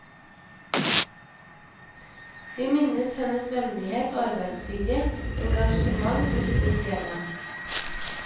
Vi minnes hennes vennlighet, arbeidsvilje og engasjement med stor glede.